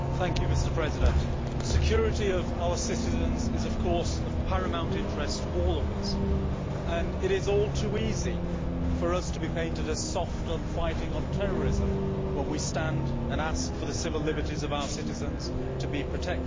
Mr President, the security of our citizens is of paramount interest to us all, and it is all too easy for us to be painted as soft on fighting terrorism when we stand and ask for the civil liberties of our citizens to be protected.